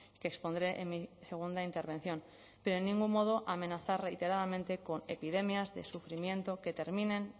que expondré en mi segunda intervención pero en ningún modo amenazar reiteradamente con epidemias de sufrimiento que terminen